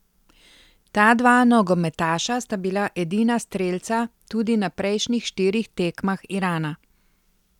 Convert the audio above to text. Ta dva nogometaša sta bila edina strelca tudi na prejšnjih štirih tekmah Irana.